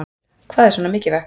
Hvað er svona mikilvægt